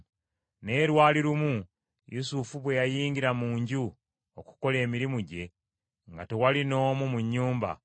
Naye lwali lumu Yusufu bwe yayingira mu nju okukola emirimu gye nga tewali n’omu mu nnyumba,